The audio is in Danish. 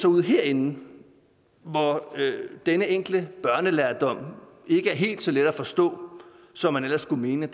ud herinde hvor denne enkle børnelærdom ikke er helt så let at forstå som man ellers skulle mene